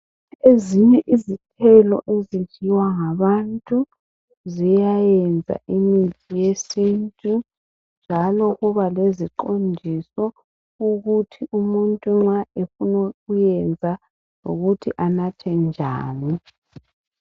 Ezinye izithelo ezenziwa ngabantu ziyayenza imithi yesintu njalo kube leziqondiso ukuthi umuntu nxa efuna ukuyenza lokuthi anathe njani